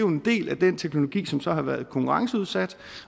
en del af den teknologi som så har været konkurrenceudsat